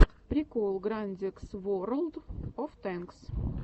прикол грандикс ворлд оф тэнкс